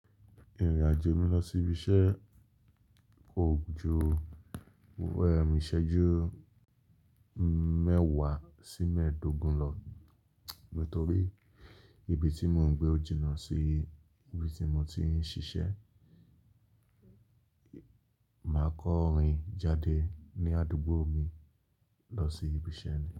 Ìrìn-àjò mi lọ sí ibi iṣẹ́ kò ju, ẹ̀ iṣẹ́jú mẹ́wàá sí mẹ́ẹ̀ẹ́dógún lọ. Nítorí ibi tí mò ń gbé jìnà sí ibi tí mo ti ń ṣiṣẹ́, màá kan rin jáde ní àdúgbò mi lọ sí ibi iṣẹ́ mi.